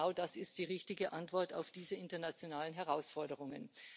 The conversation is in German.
Genau das ist die richtige Antwort auf diese internationalen Herausforderungen.